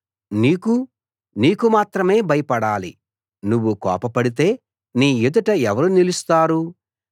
నీకు నీకు మాత్రమే భయపడాలి నువ్వు కోపపడితే నీ ఎదుట ఎవరు నిలుస్తారు